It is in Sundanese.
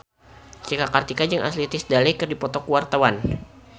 Cika Kartika jeung Ashley Tisdale keur dipoto ku wartawan